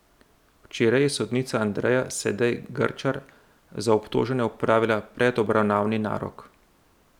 Včeraj je sodnica Andreja Sedej Grčar za obtožene opravila predobravnavni narok.